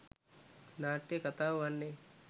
නාට්‍යයේ කථාව වන්නේ